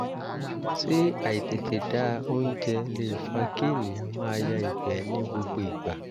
ṣé àìtètè da oúnjẹ lè fa kí ènìyàn máa ya ìgbẹ́ ní gbogbo ìgbà?